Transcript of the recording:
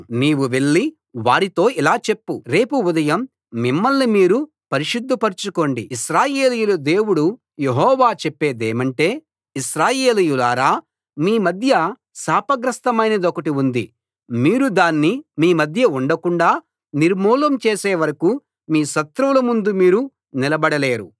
నీవు వెళ్లి వారితో ఇలా చెప్పు రేపు ఉదయం మిమ్మల్ని మీరు పరిశుద్ధపరచుకోండి ఇశ్రాయేలీయుల దేవుడు యెహోవా చెప్పేదేమంటే ఇశ్రాయేలీయులారా మీ మధ్య శాపగ్రస్తమైనదొకటి ఉంది మీరు దాన్ని మీ మధ్య ఉండకుండా నిర్మూలం చేసేవరకూ మీ శత్రువుల ముందు మీరు నిలబడలేరు